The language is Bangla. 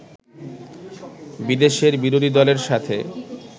বিদেশের বিরোধী দলের সাথে